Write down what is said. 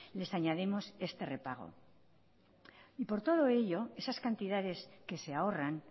les añadimos este repago y por todo ello esas cantidades que se ahorran